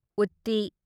ꯎꯠꯇꯤ